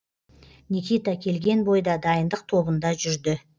никита келген бойда дайындық тобында жүрді